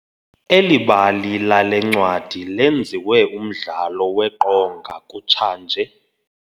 Eli bali lale ncwadi lenziwe umdlalo weqonga kutshanje.